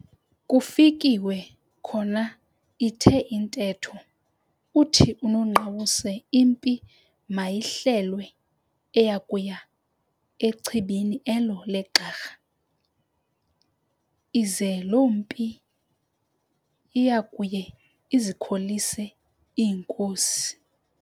Kufikiwe khona ithe intetho, uthi unongqawuse impi mayihlelwe eya kuya nchwebeni elo leGxarha, ize loo mpi iyayo ikholise ngeenkosi.